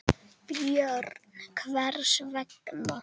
Björn: Hvers vegna?